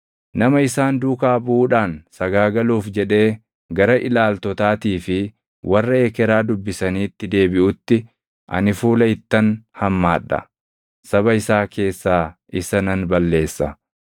“ ‘Nama isaan duukaa buʼuudhaan sagaagaluuf jedhee gara ilaaltotaatii fi warra ekeraa dubbisaniitti deebiʼutti ani fuula ittan hammaadha; saba isaa keessaa isa nan balleessa.